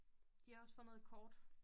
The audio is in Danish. De har også fundet et kort